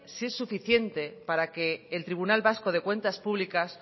si es suficiente para que el tribunal vasco de cuentas públicas